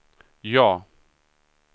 ja